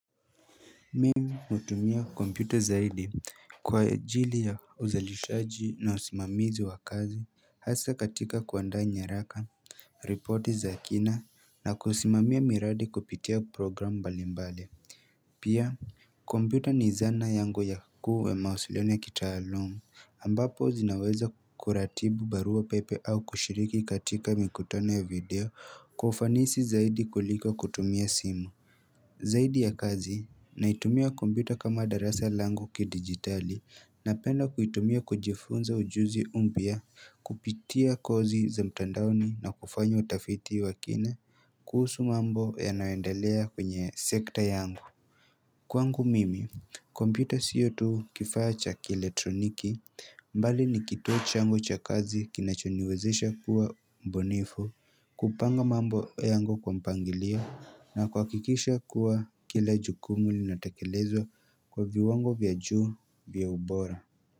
Mimi hutumia computer zaidi kwa ajili ya uzalishaji na usimamizi wa kazi hasa katika kuandaa nyaraka ripoti za kina na kusimamia miradi kupitia program mbali mbali pia computer ni zana yangu yakuu yamawasiliano ya kitaaluma ambapo zinaweza kuratibu barua pepe au kushiriki katika mikutano ya video kwaufanisi zaidi kuliko kutumia simu zaidi ya kazi naitumia computer kama darasa langu ki digitali na penda kuitumia kujifunza ujuzi mpya kupitia kozi za mtandaoni na kufanya utafiti wakina kuhusu mambo ya nayoendelea kwenye sekta yangu Kwangu mimi computer siotu kifaa cha kieletroniki mbali nikituo changu cha kazi kinachoniwezesha kuwa mbunifu kupanga mambo yangu kwa mpangilio na kuhakikisha kuwa kila jukumu linatekelezwa kwa viwango vya juu vya ubora.